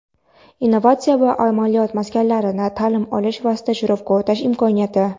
innovatsiya va amaliyot maskanlarida taʼlim olish va stajirovka o‘tash imkoniyati.